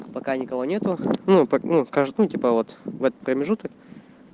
пока никого нету ну типа вот в этот промежуток